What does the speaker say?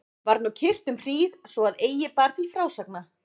Var nú kyrrt um hríð svo að eigi bar til frásagna.